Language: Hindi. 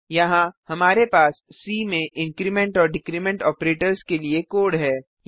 यहाँ हमारे पास सी में इंक्रीमेंट और डिक्रीमेंट ऑपरेटर्स के लिए कोड है